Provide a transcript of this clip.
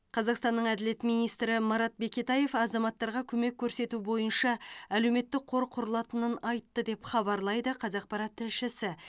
қазақстанның әділет министрі марат бекетаев азаматтарға көмек көрсету бойынша әлеуметтік қор құрылатынын айтты деп хабарлайды қазақпарат тілшісі